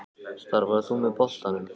Starfar þú með boltanum?